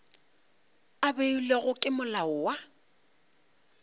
a beilwego ke molao wa